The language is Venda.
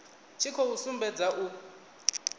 tshi khou sumbedza u